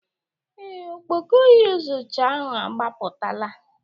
Ee, ọkpọkọ iyuzucha ahụ agbapụtala